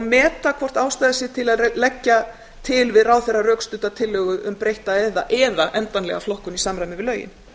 meta hvort ástæða sé til að leggja til við ráðherra rökstudda tillögu um breytta eða endanlega flokkun í samræmi við lögin